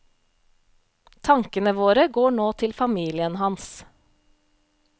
Tankene våre går nå til familien hans.